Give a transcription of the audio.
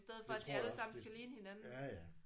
Det tror jeg også. Hvis ja ja